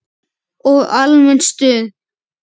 Og almennt stuð!